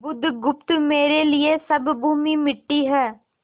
बुधगुप्त मेरे लिए सब भूमि मिट्टी है